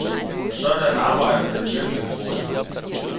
Sådan arbejder den virkelige humorist.